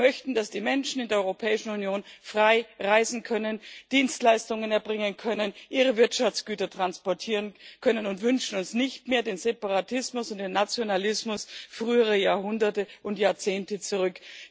Wir möchten, dass die Menschen in der Europäischen Union frei reisen, Dienstleistungen erbringen und ihre Wirtschaftsgüter transportieren können, und wünschen uns nicht mehr den Separatismus und den Nationalismus früherer Jahrhunderte und Jahrzehnte zurück.